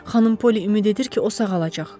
Xanım Polli ümid edir ki, o sağalacaq.